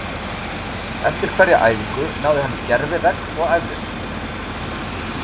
Eftir hverja æfingu náði hann í gervi-vegg og æfði sig.